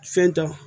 Fɛn ta